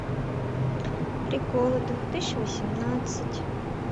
приколы две тысячи восемнадцать